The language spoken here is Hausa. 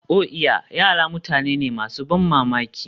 Oh iya! Yara mutane ne masu ban mamaki.